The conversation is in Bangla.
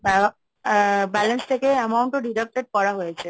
আ আ balance থেকে amount ও deducted করা হয়েছে।